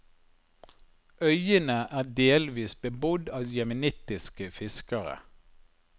Øyene er delvis bebodd av jemenittiske fiskere.